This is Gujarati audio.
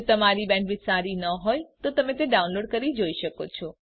જો તમારી બેન્ડવિડ્થ સારી ન હોય તો તમે ડાઉનલોડ કરી તે જોઈ શકો છો